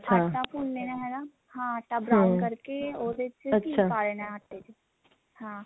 ਆਟਾ ਭੁੰਨ ਲੇਣਾ ਹਨਾ ਹਾਂ ਆਟਾ brown ਕਰਕੇ ਉਹਦੇ ਚ ਘੀ ਪਾ ਦੇਣਾ ਆਟੇ ਚ ਹਾਂ